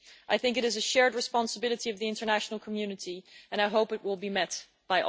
I think it is a shared responsibility of the international community and I hope it will be met by all.